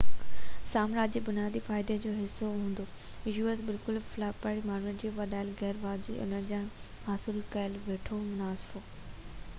بلڪل فلپائني ماڻهن جو وڌايل غير واجبي ڪم مان حاصل ڪيل وڌيڪ منافعو u.s. سامراج جي بنيادي فائدي جوحصو هوندو